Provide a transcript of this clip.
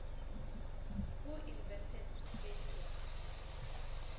who invented facebook